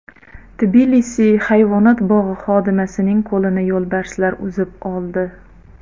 Tbilisi hayvonot bog‘i xodimasining qo‘lini yo‘lbarslar uzib oldi.